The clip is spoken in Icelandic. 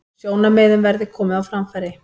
Sjónarmiðum verði komið á framfæri